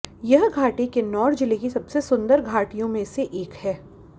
यह घाटी किन्नौर जिले की सबसे सुंदर घाटियों में एक है